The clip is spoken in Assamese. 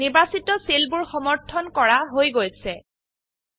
নিৰ্বাচিত সেলবোৰ সমৰ্থন কৰা হৈ গৈছে160